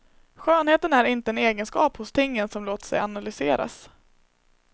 Skönheten är inte en egenskap hos tingen som låter sig analyseras.